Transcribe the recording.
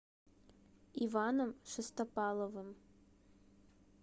иваном шестопаловым